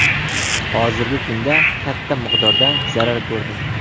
Hozirgi kunda katta miqdorda zarar ko‘rdim.